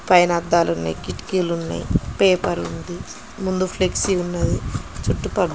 పైన అద్ధలునై కిటికీలు ఉన్నాయ్ పేపర్ ఉంది ముందు ఫ్లెక్సి ఉంది చుట్టుపక్కల.